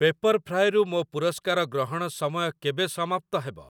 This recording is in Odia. ପେପର୍‌ଫ୍ରାଏ ରୁ ମୋ ପୁରସ୍କାର ଗ୍ରହଣ ସମୟ କେବେ ସମାପ୍ତ ହେବ?